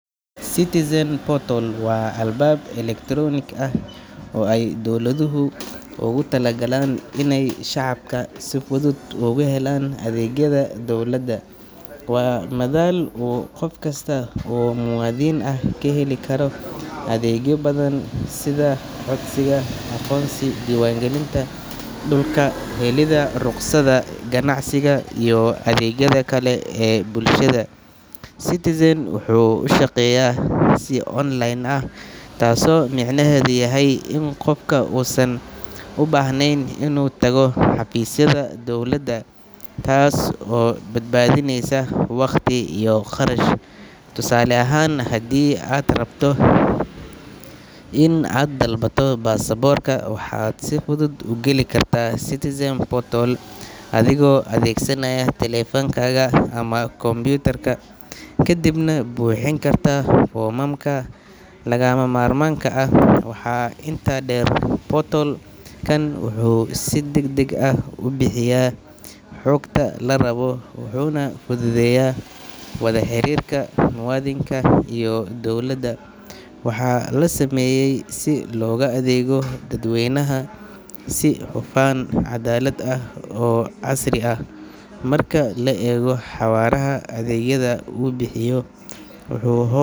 Citizen portal waa albaab elektaroonik ah oo ay dawladuhu ugu talagaleen inay shacabka si fudud ugu helaan adeegyada dowladda. Waa madal uu qof kasta oo muwaadin ah ka heli karo adeegyo badan sida codsashada aqoonsi, diiwaangelinta dhulka, helidda rukhsadaha ganacsiga iyo adeegyada kale ee bulshada. Citizen portal wuxuu u shaqeeyaa si online ah, taasoo micnaheedu yahay in qofku uusan u baahnayn inuu tago xafiisyada dowladda, taas oo badbaadineysa waqti iyo kharash. Tusaale ahaan, haddii aad rabto in aad dalbato baasaboorka, waxaad si fudud u geli kartaa Citizen portal adigoo adeegsanaya taleefankaaga ama kombuyuutarka, kadibna buuxin kartaa foomamka lagama maarmaanka ah. Waxaa intaa dheer, portal-kan wuxuu si degdeg ah u bixiyaa xogta la rabo, wuxuuna fududeeyaa wada xiriirka muwaadinka iyo dowladda. Waxaa la sameeyay si loogu adeego dadweynaha si hufan, caddaalad ah, oo casri ah. Marka la eego xawaaraha adeegyada uu bixiyo, wuxuu hoos.